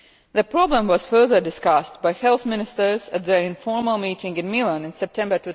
The problem was further discussed by health ministers at their informal meeting in Milan in September